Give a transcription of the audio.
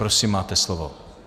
Prosím, máte slovo.